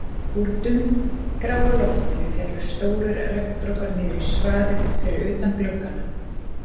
Úr dumbgráu loftinu féllu stórir regndropar niður í svaðið fyrir utan gluggana